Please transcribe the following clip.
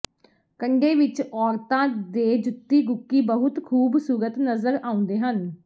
ਕੰਡੇ ਵਿੱਚ ਔਰਤਾਂ ਦੇ ਜੁੱਤੀ ਗੁਕੀ ਬਹੁਤ ਖੂਬਸੂਰਤ ਨਜ਼ਰ ਆਉਂਦੇ ਹਨ